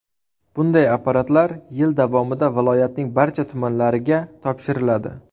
Bunday apparatlar yil davomida viloyatning barcha tumanlariga topshiriladi.